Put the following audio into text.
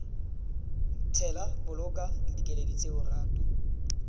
tshela boloka dikeledi tseo ratu